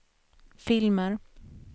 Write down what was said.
filmer